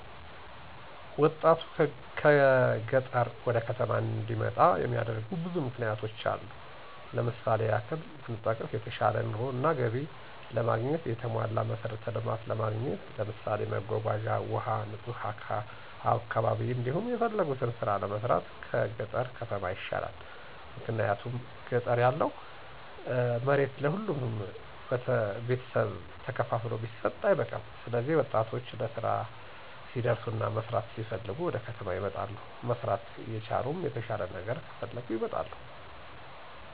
ወጣቱን ከገጠር ወደ ከተማ እንዲመጣ የሚያደርጉ ብዙ ምክንያቶች አሉ። ለምሳሌ ያክል ብንጠቅስ የተሻለ ኑሮ እና ገቢ ለማግኘት፣ የተሟላ መሠረተ ልማት ለማግኘት ለምሳሌ መጓጓዣ፣ ውሀ፣ ንጹህ አካባ፤ እንዲሁም የፈለጉትን ስራ ለመስራት ከገጠር ከተማ ይሻላል። ምክንያቱም ገጠር ያለው መሬት ለሁሉም ቤተሰብ ተከፋፍሎ ቢሰጥ አይበቃም ስለዚህ ወጣቶች ለስራ ሲደርሱና መስራት ሲፈልጉ ወደከተማ ይመጣሉ። መስራት እየቻሉም የተሻለ ነገር ከፈለጉ ይመጣሉ